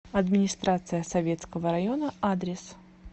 администрация советского района адрес